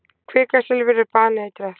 Kvikasilfur er baneitrað.